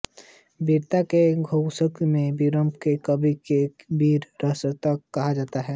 वीरता के सम्पोषक इस वीररस के कवि को वीर रसावतार कहा जाता है